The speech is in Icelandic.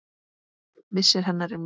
Missir hennar er mikill.